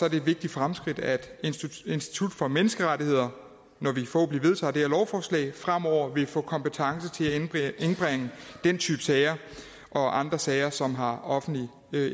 et vigtigt fremskridt at institut for menneskerettigheder fremover vil få kompetence til at indbringe den type sager og andre sager som har offentlig